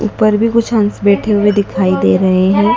ऊपर भी कुछ हंस बैठे हुए दिखाई दे रहे हैं।